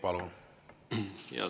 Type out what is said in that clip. Palun!